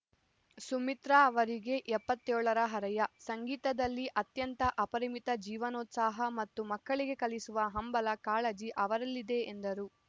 ಸುಮಿತ್ರಾ ಅವರಿಗೆ ಎಪ್ಪತ್ತ್ ಏಳರ ಹರಯ ಸಂಗೀತದಲ್ಲಿ ಅತ್ಯಂತ ಅಪರಿಮಿತ ಜೀವನೋತ್ಸಾಹ ಮತ್ತು ಮಕ್ಕಳಿಗೆ ಕಲಿಸುವ ಹಂಬಲ ಕಾಳಜಿ ಅವರಲ್ಲಿದೆ ಎಂದರು